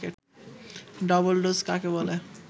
double dose কাকে বলে